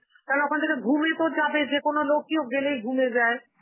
তাহলে ওখান থেকে ghum এ তো যাবেই, যেকোনো লোকই ও গেলেই ghum যায়.